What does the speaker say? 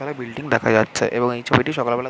এখানে বিল্ডিং দেখা যাচ্ছে এবং এই ছবিটি সকাল বেলা --